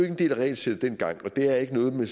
en del af regelsættet dengang og det er ikke noget man